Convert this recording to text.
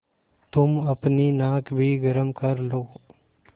तुम अपनी नाक भी गरम कर लो